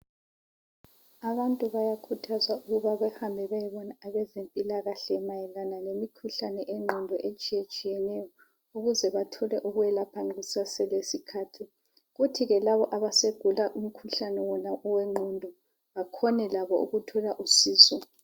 Abantu bayakhuthazwa ukuba behambe beyebona abezempilakhle mayelana lemikhuhlane eyengqondo etshiyetshiyeneyo ukuze bethole ukwelapheka kuseselesikhathi. Kuthi ke labo asebegula umkhuhlane wona owengqondo bakhone labo ukuthola usizo.